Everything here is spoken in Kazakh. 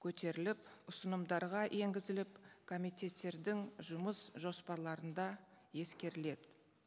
көтеріліп ұсынымдарға енгізіліп комитеттердің жұмыс жоспарларында ескеріледі